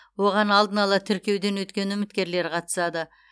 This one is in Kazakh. оған алдын ала тіркеуден өткен үміткерлер қатысады